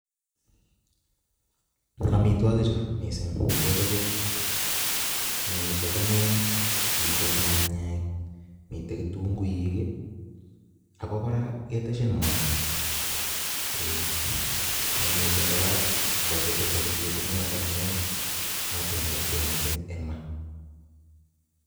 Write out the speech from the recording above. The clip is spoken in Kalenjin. Amitwogik chu missing kechobe mitei dania, mitei nyanyek, mitei kitunguik, ako kora keteshin mwaita eeh ne missing kora mabetei safuriet eng yotok amu notok neboishei missing eng maa.